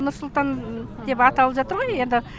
нұр сұлтан деп аталып жатыр ғой енді